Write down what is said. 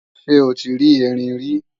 Ṣé o ti rí Erin rí?